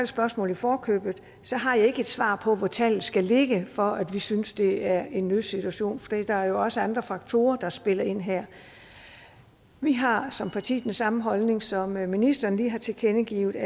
spørgsmål i forkøbet har jeg ikke et svar på hvor tallet skal ligge for at vi synes det er en nødsituation for der er jo også andre faktorer der spiller ind her vi har som parti den samme holdning som ministeren lige har tilkendegivet